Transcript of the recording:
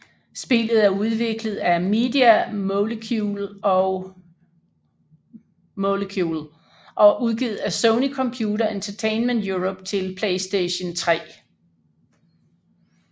Spillet er udviklet af Media Molecule og udgivet af Sony Computer Entertainment Europe til PlayStation 3